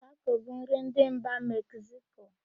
Tako bụ nri ndị mba Mekziko.